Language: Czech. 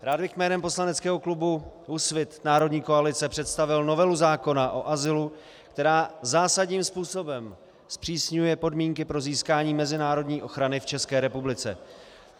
Rád bych jménem poslaneckého klubu Úsvit národní koalice představil novelu zákona o azylu, která zásadním způsobem zpřísňuje podmínky pro získání mezinárodní ochrany v České republice.